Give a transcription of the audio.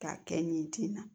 K'a kɛ nin tin na